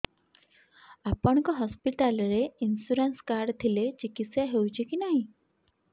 ଆପଣଙ୍କ ହସ୍ପିଟାଲ ରେ insurance card ଥିଲେ ଚିକିତ୍ସା ହେଉଛି କି ନାଇଁ